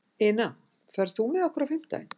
Ina, ferð þú með okkur á fimmtudaginn?